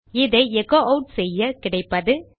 இதை எச்சோ ஆட் செய்ய கிடைப்பது